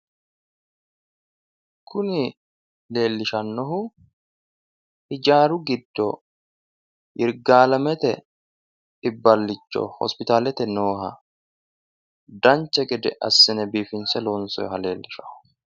Kuni leellishannohu ijaaru giddo yirgaalemete iibballicho hospitaalete nooha dancha gede assine biiffinsse loonssoyiha leellishshanno.